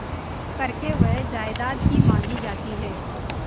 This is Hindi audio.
करके वह जायदाद ही मॉँगी जाती है